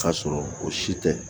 K'a sɔrɔ o si tɛ